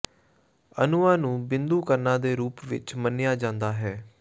ਅਣੂਆਂ ਨੂੰ ਬਿੰਦੂ ਕਣਾਂ ਦੇ ਰੂਪ ਵਿੱਚ ਮੰਨਿਆ ਜਾਂਦਾ ਹੈ